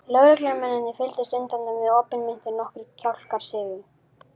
Lögreglumennirnir fylgdust undrandi með, opinmynntir og nokkrir kjálkar sigu.